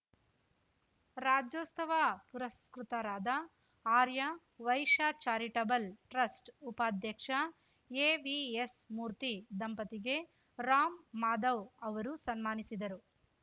ರಾಜ್ಯೋಸ್ತವ ಪುರಸ್ಕೃತರಾದ ಆರ್ಯ ವೈಶ್ಯ charitable trust ಉಪಾಧ್ಯಕ್ಷ ಎವಿಎಸ್‌ಮೂರ್ತಿ ದಂಪತಿಗೆ ರಾಮ್‌ ಮಾಧವ್‌ ಅವರು ಸನ್ಮಾನಿಸಿದರು